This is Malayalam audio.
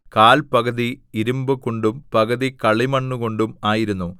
കാൽ പകുതി ഇരിമ്പുകൊണ്ടും പകുതി കളിമണ്ണുകൊണ്ടും ആയിരുന്നു